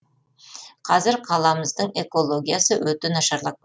қазір қаламыздың экологиясы өте нашарлап